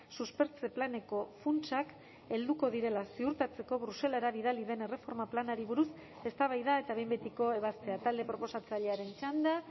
suspertze planeko funtsak helduko direla ziurtatzeko bruselara bidali den erreforma planari buruz eztabaida eta behin betiko ebazpena talde proposatzailearen txanda